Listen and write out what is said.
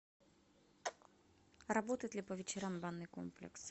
работает ли по вечерам банный комплекс